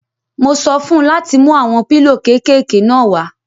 Mo sọ fún un láti mú àwọn pílò kéékèké náà wá.